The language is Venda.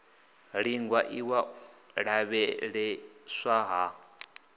iingwa iwa u lavheieswa ha